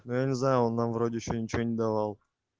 я не знаю она вроде ещё ничего не давала